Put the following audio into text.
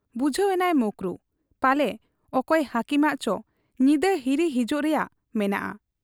ᱵᱩᱡᱷᱟᱹᱣ ᱮᱱᱟᱭ ᱢᱚᱠᱨᱩ ᱾ ᱯᱟᱞᱮ ᱚᱠᱚᱭ ᱦᱟᱹᱠᱤᱢᱟᱜ ᱪᱚ ᱧᱤᱫᱟᱹ ᱦᱤᱨᱤ ᱦᱤᱡᱩᱜ ᱨᱮᱭᱟᱜ ᱢᱮᱱᱟᱜ ᱟ ᱾